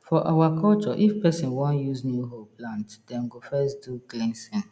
for our culture if person wan use new hoe plant dem go first do cleansing